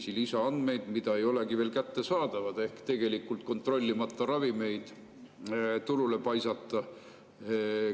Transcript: Need ravimid ei ole veel kättesaadavad ehk tegelikult võib kontrollimata ravimeid turule paisata.